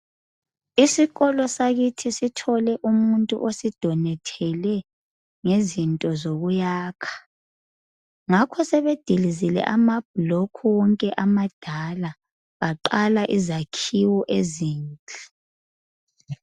Isikolo sakithi sithole umuntu osidonethele ngezinto zokuyakha, ngakho sebedilizile ama bhulokhu wonke amadala, baqala izakhiwo ezinhle.